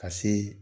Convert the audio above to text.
Ka se